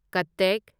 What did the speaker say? ꯀꯠꯇꯦꯛ